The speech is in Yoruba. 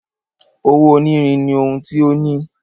Owó onírin ní ohùn tí o ní.